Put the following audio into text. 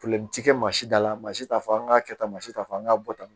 tɛ kɛ maa si dala, maa si ta fɔ an ka kɛ tan, maa si ta fɔ an ka bɔ tan.